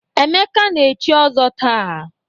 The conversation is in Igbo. Emeka na-echi ọzọ taa.